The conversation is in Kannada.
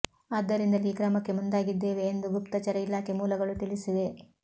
ಆದ್ದರಿಂದಲೇ ಈ ಕ್ರಮಕ್ಕೆ ಮುಂದಾಗಿದ್ದೇವೆ ಎಂದು ಗುಪ್ತಚರ ಇಲಾಖೆ ಮೂಲಗಳು ತಿಳಿಸಿವೆ